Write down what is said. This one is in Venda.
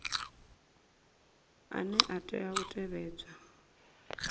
ane a tea u tevhedzwa